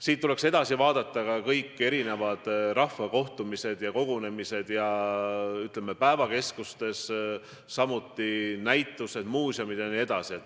Siit tuleks edasi mõelda: ära tuleks jätta kõik rahvakogunemised, ütleme, näiteks päevakeskustes, samuti sulgeda näitused, muuseumid jne.